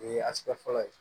O ye fɔlɔ ye